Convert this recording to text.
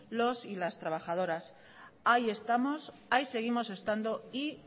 los y las trabajadoras ahí estamos ahí seguimos estando y